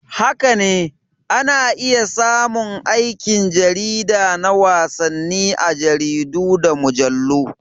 Haka ne, ana iya samun aikin jarida na wasanni a jaridu da mujallu.